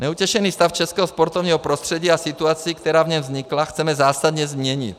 Neutěšený stav českého sportovního prostředí a situaci, která v něm vznikla, chceme zásadně změnit.